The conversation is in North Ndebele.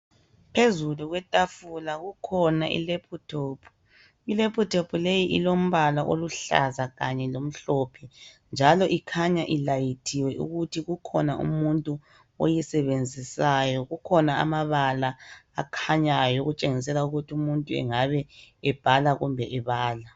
Phezulu kwetafula, kukhona ilephuthophu. Ilephuthophu leyi, ilombala oluhlaza kanye lomhlophe, njalo ikhanya ilayithiwe, ukuthi kukhona umuntu oyisebenzisayo. Kukhona amabala akhanyayo, okutshengisela ukuthi umuntu engabe ebhala, kumbe ebala.